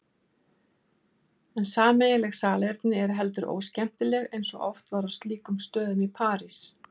En sameiginleg salerni eru heldur óskemmtileg eins og oft var á slíkum stöðum í París.